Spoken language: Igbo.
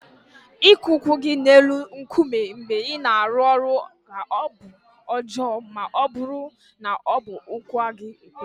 Ịkụ ụkwụ gị n'elu nkume mgbe ị na-arụ ọrụ ga-abụ ihe ọjọọ ma ọ bụrụ na ọ bụ ụkwụ aka ekpe gị.